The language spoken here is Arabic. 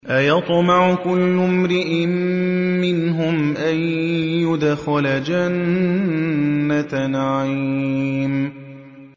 أَيَطْمَعُ كُلُّ امْرِئٍ مِّنْهُمْ أَن يُدْخَلَ جَنَّةَ نَعِيمٍ